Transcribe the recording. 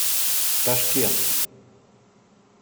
ташкент